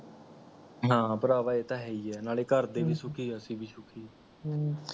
ਹਾਂ ਭਰਾਵਾਂ ਇਹ ਤਾਂ ਹੈ ਹੀ ਹੈ ਨਾਲੇ ਘਰ ਦੇ ਵੀ ਸੁੱਖੀ ਅਸੀ ਵੀ ਸੁੱਖੀ ਹਮਮ